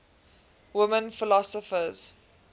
women philosophers